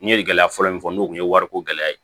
N ye gɛlɛya fɔlɔ min fɔ n'o kun ye wariko gɛlɛya ye